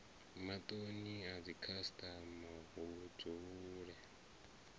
matoni a dzikhasitama hu dzule